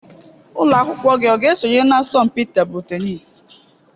Ụlọ akwụkwọ gị ọ ga-esonye na asọmpi tebụl tenisi?